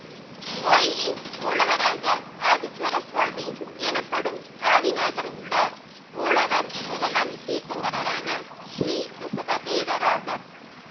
கோயிலின் மூலவராக ஆதீஸ்வரசுவாமி எனப்படும் ஆதிநாதர் உள்ளார் மூலவர் முதலாம் தீர்த்தங்கரரான ஸ்ரீரிஷபதேவர் ஆவர்